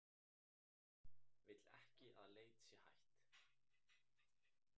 Vill ekki að leit sé hætt